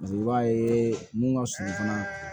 i b'a ye mun ka sunɔgɔ fana